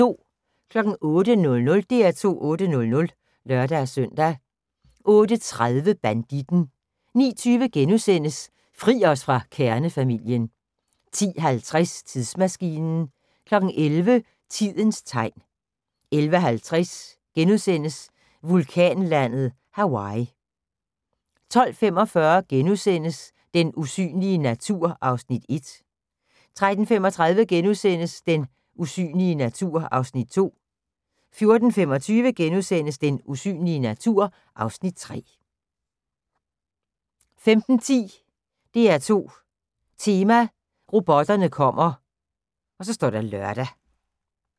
08:00: DR2 8:00 (lør-søn) 08:30: Banditten 09:20: Fri os fra kernefamilien * 10:50: Tidsmaskinen 11:00: Tidens Tegn 11:55: Vulkanlandet Hawaii (2:2)* 12:45: Den usynlige natur (Afs. 1)* 13:35: Den usynlige natur (Afs. 2)* 14:25: Den usynlige natur (Afs. 3)* 15:10: DR2 Tema: Robotterne kommer (lør)